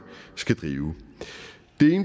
skal drive